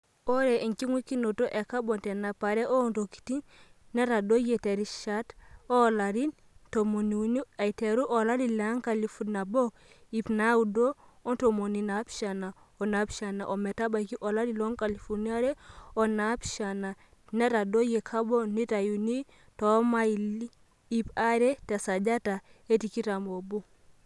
Ore enkingweikinoto e kabon tenapare oontokitin netadoyie terishat oolarin tomoniuni aiteru olari lenkalifu nabo iip naaudo ontomoni naaapishana onaapishana ometabaiki olari loonkalifuni are onaapishan netadoyie kabon naitayuni toomaili iip are tesajata e tikitam oobo.